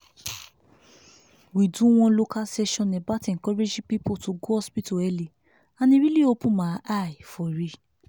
we do one local session about encouraging people to go hospital early and e really open my eye for real.